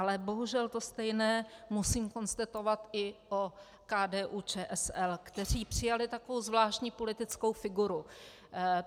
Ale bohužel to stejné musím konstatovat i o KDU-ČSL, kteří přijali takovou zvláštní politickou figuru.